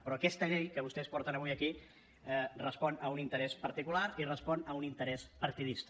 però aquesta llei que vostès porten avui aquí respon a un interès particular i respon a un interès partidista